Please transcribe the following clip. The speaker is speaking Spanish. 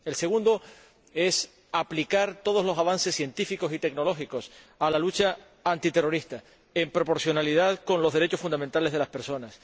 El segundo, aplicar todos los avances científicos y tecnológicos a la lucha antiterrorista, de forma proporcional con los derechos fundamentales de las personas.